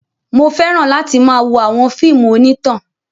Mo fẹ́ràn láti máa wo àwọn fíìmù onítàn.